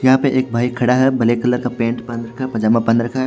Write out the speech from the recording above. यहां पे एक बाइक खड़ा है ब्लैक कलर का पेंट पहन रखा पजामा पहन रखा--